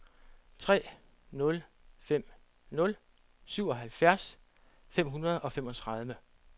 tre nul fem nul syvoghalvfjerds fem hundrede og femogtredive